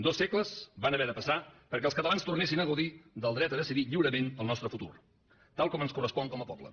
dos segles van haver de passar perquè els catalans tornessin a gaudir del dret a decidir lliurement el nostre futur tal com ens correspon com a poble